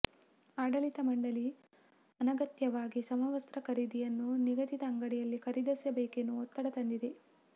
ಆಡಳಿತ ಮಂಡಳಿ ಅನಗತ್ಯವಾಗಿ ಸಮವಸ್ತ್ತ್ರ ಖರೀದಿಯನ್ನು ನಿಗದಿತ ಅಂಗಡಿಯಲ್ಲಿ ಖರೀದಿಸಬೇಕೆನ್ನುವ ಒತ್ತಡ ತಂದಿದೆ